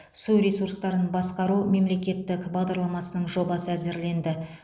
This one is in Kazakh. су ресурстарын басқару мемлекеттік бағдарламасының жобасы әзірленді